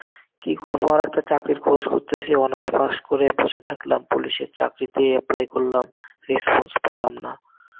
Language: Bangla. কি করবো আর একটা চাকরির খোঁজ করতেছি. honours পাশ করে বসে থাকলাম. পুলিশের চাকরিতে apply করলাম, Response পাইলাম না.